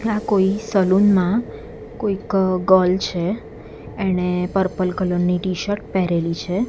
આ કોઈ સલૂન માં કોઈક ગર્લ છે એણે પર્પલ કલર ની ટીશર્ટ પહેરેલી છે.